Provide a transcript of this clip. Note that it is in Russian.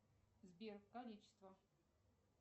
сбер количество